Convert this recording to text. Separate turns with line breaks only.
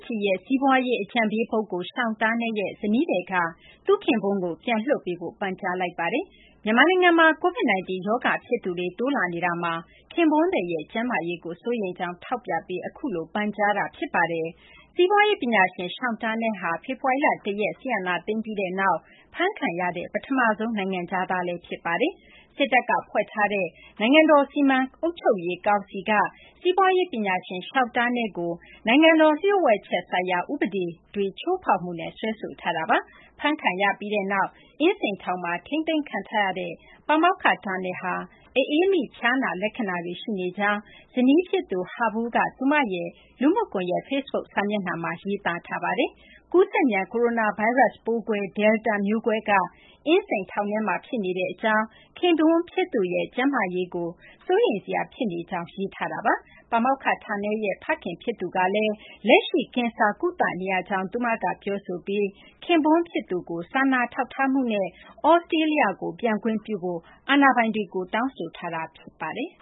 ကြည်ရဲ့ စီးပွားရေး အကြံပေးပုဂ္ဂိုလ် Sean Turnell ရဲ့ ဇနီးသည်က သူ့ခင်ပွန်းကို ပြန်လွှတ်ပေးဖို့ ပန်ကြားလိုက်ပါတယ်။ မြန်မာနိုင်ငံမှာ COVID-19 ရောဂါဖြစ်သူတွေ တိုးလာနေတာမှာ ခင်ပွန်းသည်ရဲ့ ကျန်းမာရေးကို စိုးရိမ်ကြောင်း ထောက်ပြပြီး အခုလို ပန်ကြားလိုက်တာ ဖြစ်ပါတယ်။ စီးပွားရေးပညာရှင် Sean Turnell ဟာ ဖေဖော်ဝါရီလ ၁ ရက် စစ်အာဏာသိမ်းပြီးနောက် အဖမ်းခံရတဲ့ ပထမဆုံး နိုင်ငံခြားသားလည်း ဖြစ်ပါတယ်။ စစ်တပ်ကဖွဲ့ထားတဲ့ နိုင်ငံတော် စီမံအုပ်ချုပ်ရေးကောင်စီက စီးပွားရေးပညာရှင် Sean Turnell ကို နိုင်ငံတော် လျှို့ဝှက်ချက်ဥပဒေတွေ ချိုးဖောက်မှုနဲ့ စွဲဆိုထားတာပါ။ အဖမ်းခံရပြီးနောက် အင်းစိန်ထောင်မှာ ထိန်းသိမ်းခံထားရတဲ့ ပါမောက္ခ Turnell ဟာ အအေးမိ ဖျားနာလက္ခဏာတွေ ရှိနေကြောင်း ဇနီးဖြစ်သူ Ha Vu က သူမရဲ့ လူမှုကွန်ရက် Facebook စာမျက်နှာမှာ ရေးသားထားပါတယ်။ ကူးစက်မြန် ကိုရိုနာဗိုင်းရပ်စ် Delta မျိုးကွဲက အင်းစိန်ထောင်မှာ ဖြစ်နေကြောင်း၊ ခင်ပွန်းဖြစ်သူရဲ့ ကျန်းမာရေးကို စိုးရိမ်စရာဖြစ်နေကြောင်း ရေးထားတာပါ။ ပါမောက္ခ Turnell ရဲ့ ဖခင်ဖြစ်သူကလည်း လက်ရှိ ကင်ဆာကုသနေရကြောင်းလည်း သူမက ပြောဆိုပြီး ခင်ပွန်းဖြစ်သူကို စာနာထောက်ထားမှုနဲ့ သြစတြေးလျကို ပြန်ခွင့်ပြုဖို့ အာဏာပိုင်တွေကို တောင်းဆိုထားတာ ဖြစ်ပါတယ်